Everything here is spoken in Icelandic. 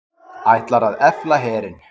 Ætlar að efla herinn